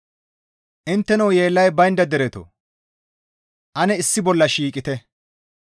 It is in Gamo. Intteno yeellay baynda deretoo! Ane issi bolla shiiqite!